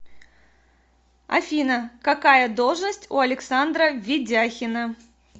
афина какая должность у александра ведяхина